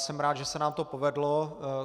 Jsem rád, že se nám to povedlo.